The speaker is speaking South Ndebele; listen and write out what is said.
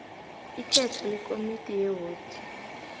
ikhetho lekomidi yewodi